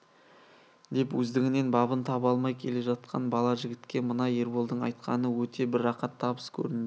деп өздігінен бабын таба алмай келе жатқан бала жігітке мына ерболдың айтқаны өте бір рақат табыс көрінді